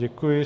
Děkuji.